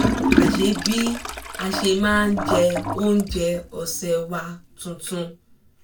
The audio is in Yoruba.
a ṣe bí a ṣe máa jẹ oúnjẹ ọ̀sẹ̀ wa tuntun